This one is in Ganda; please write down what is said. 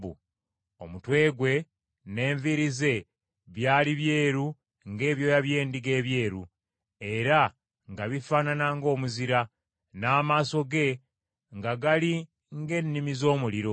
Omutwe gwe n’enviiri ze byali byeru ng’ebyoya by’endiga ebyeru, era nga bifaanana ng’omuzira, n’amaaso ge nga gali ng’ennimi z’omuliro.